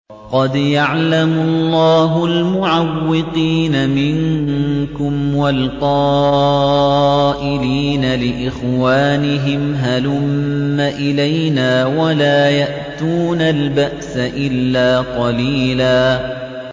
۞ قَدْ يَعْلَمُ اللَّهُ الْمُعَوِّقِينَ مِنكُمْ وَالْقَائِلِينَ لِإِخْوَانِهِمْ هَلُمَّ إِلَيْنَا ۖ وَلَا يَأْتُونَ الْبَأْسَ إِلَّا قَلِيلًا